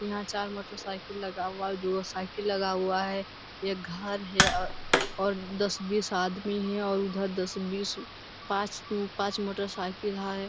यहां चार motor cycle लगा हुआ है दू गो साइकिल लगा हुआ है एक घर है और दस बीस आदमी है और उधर दस बीस आदमी पांच मोटरसाइकिल है।